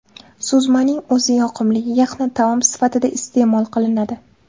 Suzmaning o‘zi yoqimli yaxna taom sifatida iste’mol qilinadi.